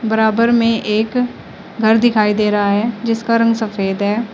बराबर में एक घर दिखाई दे रहा है जिसका रंग सफेद है।